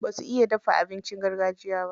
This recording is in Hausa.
Basu iya dafa abincin gargajiya ba.